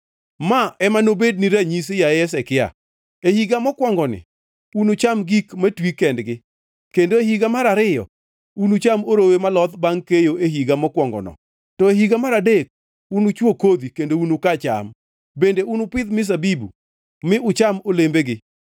“Ma ema nobedni ranyisi, yaye Hezekia: “E higa mokwongoni unucham gik matwi kendgi kendo e higa mar ariyo unucham orowe moloth bangʼ keyo e higa mokwongono. To e higa mar adek, unuchwo kodhi kendo unuka cham, bende unupidh mzabibu mi ucham olembegi.